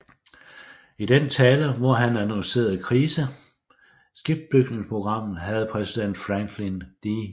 I den tale hvor han annoncerede krise skibsbygningsprogrammet havde præsident Franklin D